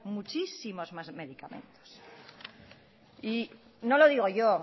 muchísimos más medicamentos y no lo digo yo